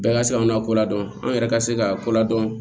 Bɛɛ ka se k'anw n'a ko ladɔn an yɛrɛ ka se k'a ko ladɔn